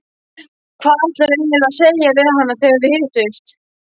Hvað ætlarðu eiginlega að segja við hana þegar þið hittist?